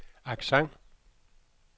accent